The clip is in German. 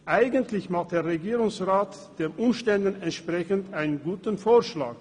Eigentlich macht der Regierungsrat einen den Umständen entsprechend guten Vorschlag.